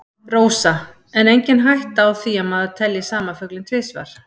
Rósa: En er engin hætta á því að maður telji sama fuglinn tvisvar?